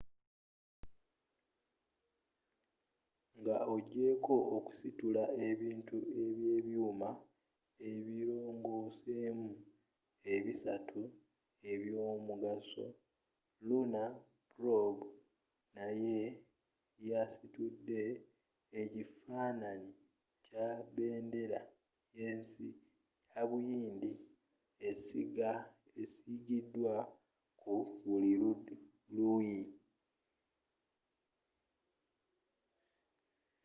nga ogyeeko okusitula ebintu ebyebyuuma ebirongoosemu ebisatu ebyomugaso lunar probe naye yasitudde ekifaananyi kya bendera y'ensi ya buyindi esiigiddwa ku buli luuyi